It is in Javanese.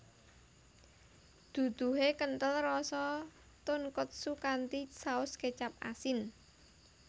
Duduhe kenthel rasa tonkotsu kanthi saus kecap asin